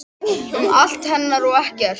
Um allt hennar og ekkert.